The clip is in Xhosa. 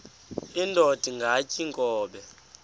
indod ingaty iinkobe